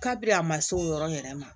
Kabini a ma se o yɔrɔ in yɛrɛ ma